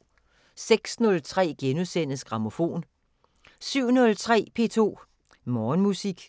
06:03: Grammofon * 07:03: P2 Morgenmusik